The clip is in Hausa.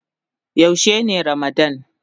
Yaushe ne ramadann.?